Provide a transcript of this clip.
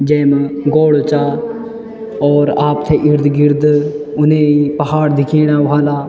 जेमा गोड़ चा और आपथे इर्द-गिर्द उने पहाड़ दिखेना वला।